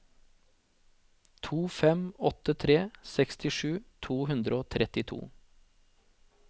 to fem åtte tre sekstisju to hundre og trettito